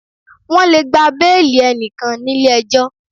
Wọ́n lè gba béìlì enikan nílé ejọ́.